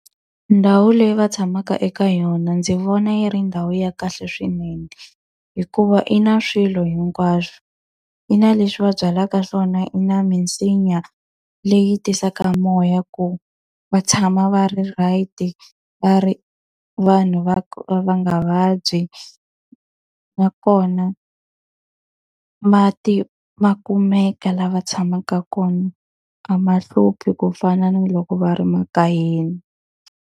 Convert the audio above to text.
Ndhawu leyi va tshamaka eka yona ndzi vona yi ri ndhawu ya kahle swinene, hikuva i na swilo hinkwaswo. Yi na leswi va byalaka swona, yi na misinya leyi tisaka moya ku va tshama va ri right-i, va ri vanhu va va nga vabyi. Nakona mati makumeka laha va tshamaka kona, a ma hluphi ku fana na loko va ri makaya.